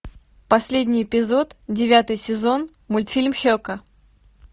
последний эпизод девятый сезон мультфильм хьека